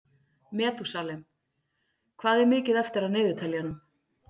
Metúsalem, hvað er mikið eftir af niðurteljaranum?